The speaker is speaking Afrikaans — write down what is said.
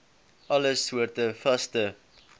alle soorte vaste